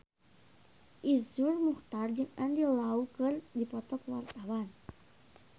Iszur Muchtar jeung Andy Lau keur dipoto ku wartawan